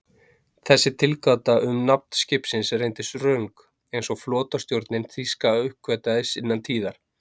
Þessi tilgáta um nafn skipsins reyndist röng, eins og flotastjórnin þýska uppgötvaði innan tíðar.